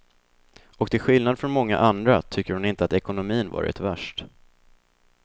Och till skillnad från många andra tycker hon inte att ekonomin varit värst.